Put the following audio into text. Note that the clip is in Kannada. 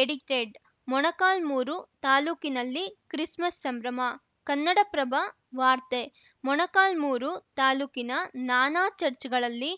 ಎಡಿಟೆಡ್‌ ಮೊಳಕಾಲ್ಮುರು ತಾಲೂಕಿಲ್ಲಿ ಕ್ರಿಸ್‌ಮಸ್‌ ಸಂಭ್ರಮ ಕನ್ನಡಪ್ರಭ ವಾರ್ತೆ ಮೊಳಕಾಲ್ಮುರು ತಾಲೂಕಿನ ನಾನಾ ಚಚ್‌ರ್‍ಗಳಲ್ಲಿ